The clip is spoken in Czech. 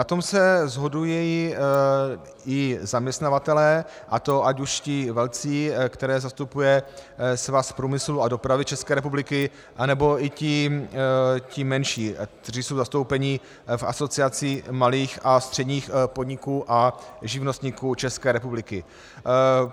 Na tom se shodují i zaměstnavatelé, a to ať už ti velcí, které zastupuje Svaz průmyslu a dopravy České republiky, nebo i ti menší, kteří jsou zastoupeni v Asociaci malých a středních podniků a živnostníků České republiky.